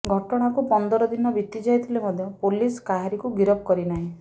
ଘଟଣାକୁ ପନ୍ଦରଦିନ ବିତିଯାଇଥିଲେ ମଧ୍ୟ ପୋଲିସ କାହାରିକୁ ଗିରଫ କରିନାହିଁ